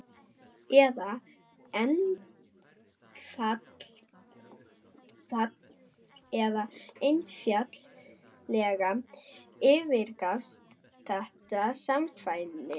eða einfaldlega yfirgafst þetta samkvæmi?